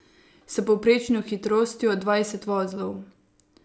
S povprečno hitrostjo dvajset vozlov.